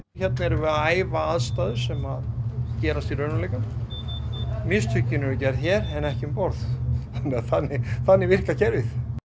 hérna erum við að æfa aðstæður sem gerast í raunveruleikanum mistökin eru gerð hér en ekki um borð þannig þannig virkar kerfið